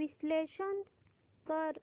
विश्लेषण कर